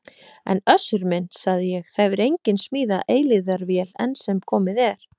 En Össur minn, sagði ég,- það hefur enginn smíðað eilífðarvél enn sem komið er.